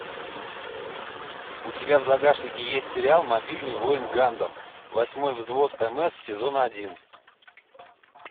у тебя в загашнике есть сериал мобильный воин гандам восьмой взвод мс сезон один